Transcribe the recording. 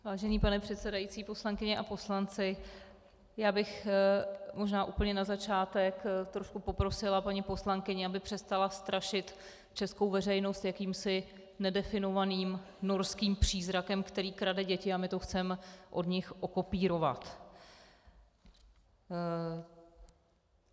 Vážený pane předsedající, poslankyně a poslanci, já bych možná úplně na začátek trochu poprosila paní poslankyni, aby přestala strašit českou veřejnost jakýmsi nedefinovaným norským přízrakem, který krade děti, a my to chceme od nich okopírovat.